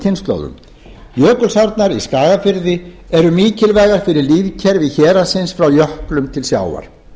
kynslóðum jökulsárnar í skagafirði eru mikilvægar fyrir lífkerfi héraðsins frá jöklum til sjávar